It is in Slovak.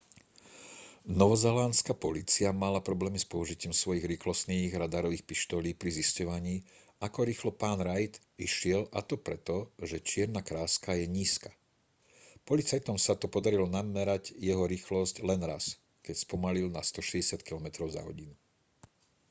novozélandská polícia mala problémy s použitím svojich rýchlostných radarových pištolí pri zisťovaní ako rýchlo pán reid išiel a to pre to že čierna kráska je nízka policajtom sa to podarilo namerať jeho rýchlosť len raz keď spomalil na 160 km/h